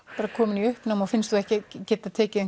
þú ert komin í uppnám og finnst þú ekki geta tekið